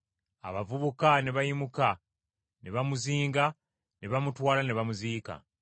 Abavubuka ne bayimuka ne bamuzinga, ne bamutwala ne bamuziika.